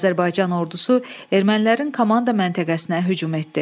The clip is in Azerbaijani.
Azərbaycan ordusu ermənilərin komanda məntəqəsinə hücum etdi.